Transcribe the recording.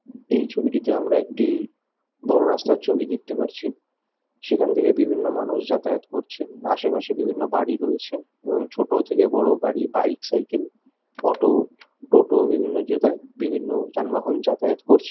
এই ছবিটিতে আমরা একটি বড়ো রাস্তার ছবি দেখতে পারছি বিভিন্ন সেখান থাকে বিভিন্ন মানুষ যাতায়াত করছেবিভিন্ন আশপাশে বিভিন্ন বাড়ি রয়েছে এবং ছোট থেকে বড়ো বাইক সাইকেল অটো টোটো বিভিন্ন যেটা বিভিন্ন যানবাহন যাতায়াত করছে।